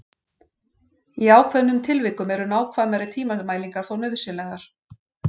Í ákveðnum tilvikum eru nákvæmari tímamælingar þó nauðsynlegar.